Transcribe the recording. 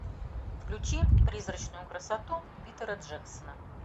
включи призрачную красоту питера джексона